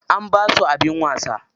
An basu abin wasa.